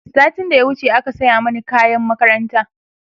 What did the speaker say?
satin da ya wuce aka saya Mani kayan makaranta